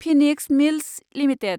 Phoenix Mills limited